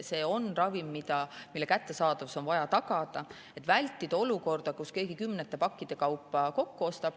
Kui on ravim, mille kättesaadavus on vaja tagada, on tarvis vältida olukorda, kus keegi kümnete pakkide kaupa midagi kokku ostab.